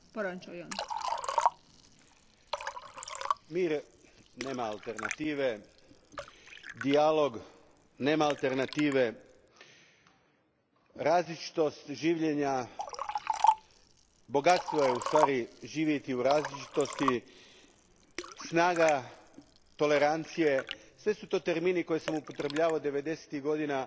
Gospodine predsjedniče, mir nema alternative, dijalog nema alternative. Različitost življenja, bogatstvo je u ustvari živjeti u različitosti, snaga tolerancije, sve su to termini koje sam upotrebljavao devedesetih godina